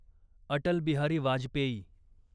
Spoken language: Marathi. अटल बिहारी वाजपेयी